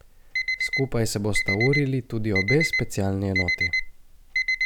Skupaj se bosta urili tudi obe specialni enoti.